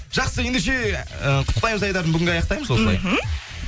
жақсы ендеше ы құттықтаймыз айдарын бүгінге аяқтаймыз осылай мхм